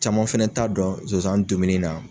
Caman fɛnɛ t'a dɔn sonsan dumuni na